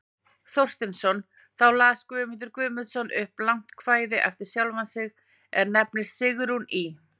Thorsteinsson, þá las Guðmundur Guðmundsson upp langt kvæði eftir sjálfan sig, er nefnist Sigrún í